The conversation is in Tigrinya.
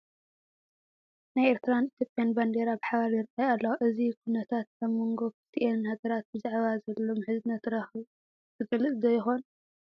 ናይ ኤርትራን ኢትዮጵያን ባንዲራ ብሓባር ይርአያ ኣለዋ፡፡ እዚ ኩነታት ኣብ መንጐ ክልቲአን ሃገራት ብዛዕባ ዘሎ ምሕዝነታዊ ረኽቢ ዝገልፅ ዶ ይኾን?